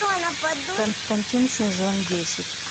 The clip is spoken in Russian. константин сезон десять